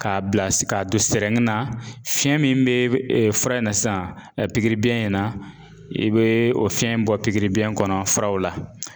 K'a bila ka don na fiyɛn min bɛ fura in na sisan pikiribiyɛn in na? i be o fiɲɛ bɔ pikiribiyɛn kɔnɔ furaw la.